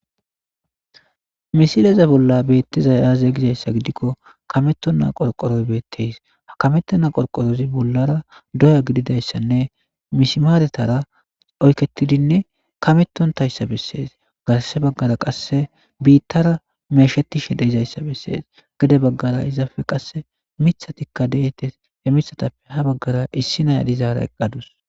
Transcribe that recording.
Misileze bolla beettiza aaze gizayssa gidikko kameto na qorqoroy beetteys ha kametto na qorqorozi bollara doya gididayssanne mismaaretara oyketidinne kametontayssa bessees garse baggara qasse biittara meeshetishe deizayssa bessees gede baggara izafe qasse mithatikka deetes e mithatappe ha baggara issi nayadizaara eqqadus.